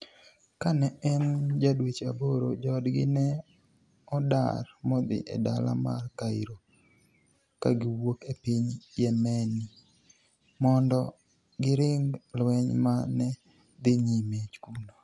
Kani e eni ja dweche aboro, joodgi ni e odar modhi e dala mar Cairo ka giwuok e piniy Yemeni, monido girinig lweniy ma ni e dhi niyime kuno.